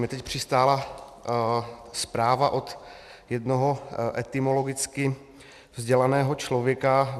Mně teď přistála zpráva od jednoho etymologicky vzdělaného člověka.